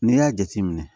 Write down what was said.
N'i y'a jateminɛ